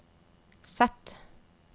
Z